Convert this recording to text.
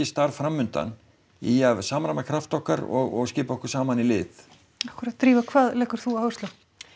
starf framundan í að samræma krafta okkar og skipa okkur saman í lið akkúrat Drífa hvað leggur þú áherslu á